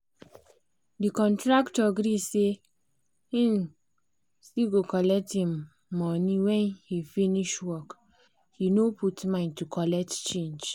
the contractor gree say he cgo collect him money when he finish work he no put mind to colet change